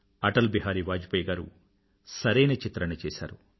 అటల్ బిహారీ వాజ్పాయ్ గారు సరైన చిత్రణ చేసారు